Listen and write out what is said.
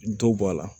Dɔ bɔ a la